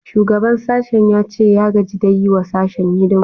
Shugaban sashen ya ce ya gaji da yi wa sashen hidima